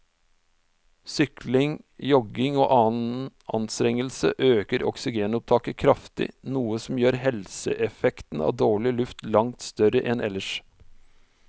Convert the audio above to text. Sykling, jogging og annen anstrengelse øker oksygenopptaket kraftig, noe som gjør helseeffekten av dårlig luft langt større enn ellers.